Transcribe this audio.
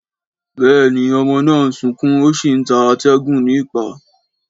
Béèni ọmọ náà ń sọkún o sí ń ta atégùn ní ìpá